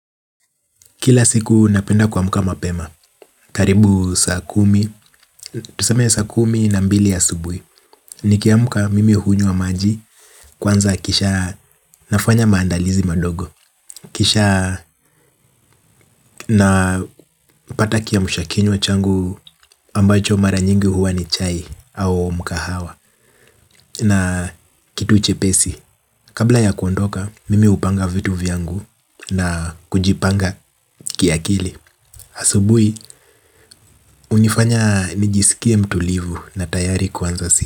Kila siku napenda kuamka mapema karibu saa kumi tuseme saa kumi na mbili asubuhi. Nikiamka mimi hunywa maji. Kwanza kisha nafanya maandalizi madogo. Kisha napata kiamsha kinywa changu ambacho mara nyingi huwa ni chai au mkahawa. Na kitu chepesi. Kabla ya kuondoka mimi hupanga vitu vyangu. Na kujipanga kiakili asubuhi hunifanya nijisikie mtulivu na tayari kuanza si.